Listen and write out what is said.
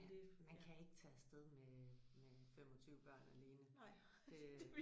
Man kan ikke tage afsted med med 25 børn alene det